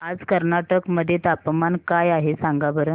आज कर्नाटक मध्ये तापमान काय आहे सांगा बरं